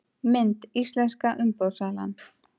Mynd: Íslenska umboðssalan